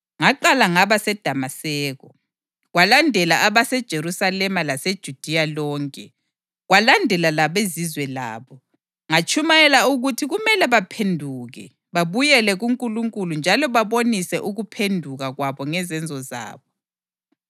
Ngaqala ngaba seDamaseko, kwalandela abaseJerusalema laseJudiya lonke, kwalandela labeZizwe labo, ngatshumayela ukuthi kumele baphenduke babuyele kuNkulunkulu njalo babonise ukuphenduka kwabo ngezenzo zabo.